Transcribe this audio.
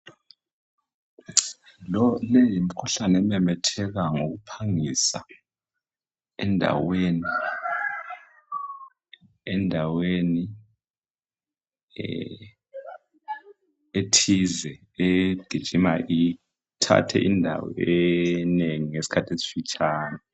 Lo, le yimikhuhlane ememetheka ngokuphangisa, endaweni, endaweni ee- ethize. Egijima ithathe indawo eningi ngesikhathi esifitshane.